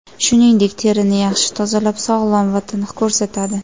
Shuningdek, terini yaxshi tozalab, sog‘lom va tiniq ko‘rsatadi.